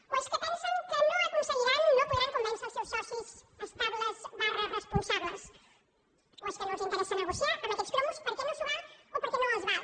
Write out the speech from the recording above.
o és que pensen que no aconseguiran no podran convèncer els seus socis estables responsables o és que no els interessa negociar amb aquest cromos perquè no s’ho val o perquè no els val